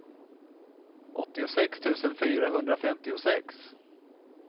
åttiosex tusen fyrahundrafemtiosex